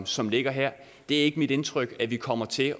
som ligger her det er ikke mit indtryk at vi kommer til